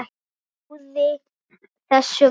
Trúði þessu varla.